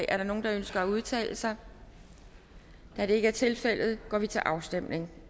er der nogen der ønsker at udtale sig da det ikke er tilfældet går vi til afstemning